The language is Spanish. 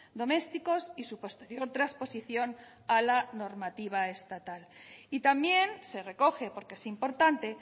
domésticos y su posterior transposición a la normativa estatal y también se recoge porque es importante